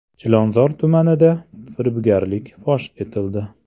Chilonzor tumanida firibgarlik fosh etildi.